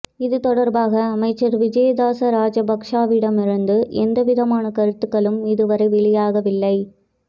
இது தொடர்பாக அமைச்சர் விஜயதாச ராஜபக்ஷவிடமிருந்து எவ்விதமான கருத்துக்களும் இதுவரை வெளியாகவில்லை